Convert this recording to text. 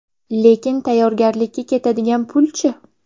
Lekin tayyorgarlikka ketadigan pul-chi?